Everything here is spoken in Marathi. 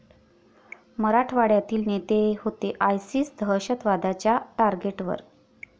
मराठवाड्यातील नेते होते आयसिस दहशतवाद्यांच्या टार्गेटवर?